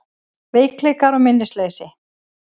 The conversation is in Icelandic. Veikleikar og minnisleysi